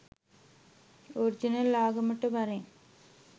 Original ආගමට වරෙන්.